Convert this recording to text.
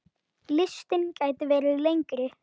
Listinn gæti verið lengri.